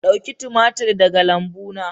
Dauki tumatir daga lambuna.